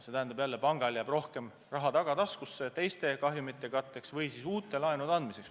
See tähendab, et pangal jääb rohkem raha tagataskusse teiste kahjumite katteks või siis uute laenude andmiseks.